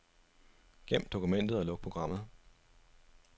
Gem dokumentet og luk programmet.